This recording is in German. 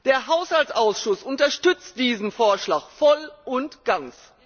Der Haushaltsausschuss unterstützt diesen Vorschlag voll und ganz!